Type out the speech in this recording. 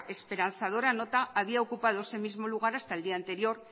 esperanzadora nota había ocupado ese mismo lugar hasta el día anterior